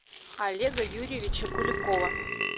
олега юрьевича куликова